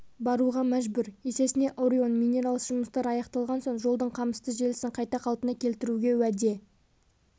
баруға мәжбүр есесіне орион минералс жұмыстар аяқталған соң жолдың қамысты желісін қайта қалпына келтіруге уәде